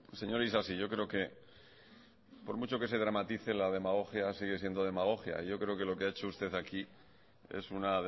señor isasi yo creo que por mucho que se dramatice la demagogia sigue siendo demagogia yo creo que lo que ya hecho usted aquí es una